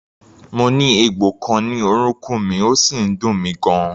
Mo ní egbò kan ní orúnkún mi, ó sì ń dùn mí gan-an.